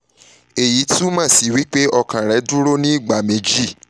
eyi tumọ si pe okan rẹ duro ni igba meji